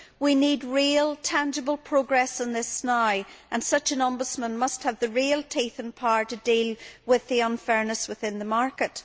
We need real, tangible progress on this now and such an ombudsman must have the teeth and power to deal with the unfairness within the market.